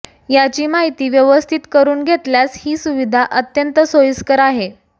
याची माहिती व्यवस्थित करून घेतल्यास ही सुविधा अत्यंत सोयीस्कर आहे